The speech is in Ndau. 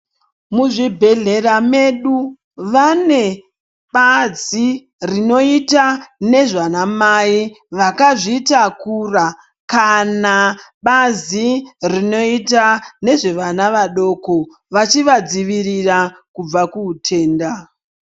Muzvibhedhlera medu vane bazi rinoita nezvanamai vakazvitakura kana bazi rinoita nezvevana vadoko vachivadzivirira kubva kuhutenda.